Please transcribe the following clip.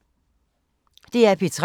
DR P3